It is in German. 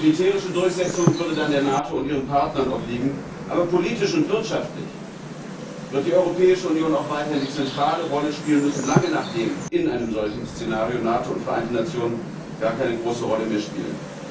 Die militärische Durchsetzung würde dann der NATO und ihren Partnern obliegen, aber politisch und wirtschaftlich wird die Europäische Union auch weiterhin die zentrale Rolle spielen müssen, lange nachdem in einem solchen Szenario NATO und Vereinte Nationen gar keine große Rolle mehr spielen.